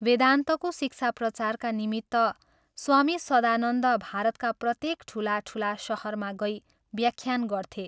वेदान्तको शिक्षा प्रचारका निमित्त स्वामी सदानन्द भारतका प्रत्येक ठूला ठूला शहरमा गई व्याख्यान गर्थे।